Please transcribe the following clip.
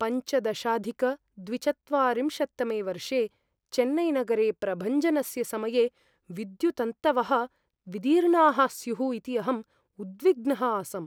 पञ्चदशाधिकद्विचत्वारिंशत्तमे वर्षे चेन्नैनगरे प्रभञ्जनस्य समये विद्युत्तन्तवः विदीर्णाः स्युः इति अहम् उद्विग्नः आसम्।